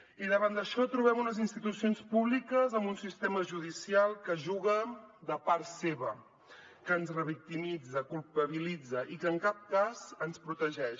i davant d’això trobem unes institucions públiques amb un sistema judicial que juga de part seva que ens revictimitza culpabilitza i que en cap cas ens protegeix